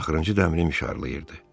Axırıncı dəmir mişarlayırdı.